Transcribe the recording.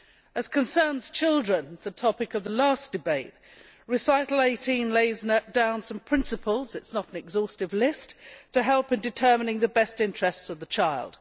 As concerns children the topic of the last debate Recital 18 lays down some principles, though not an exhaustive list, to help in determining the best interests of the child.